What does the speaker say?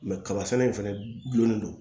kaba sɛnɛ in fɛnɛ gulonnen don